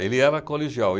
Ele era colegial.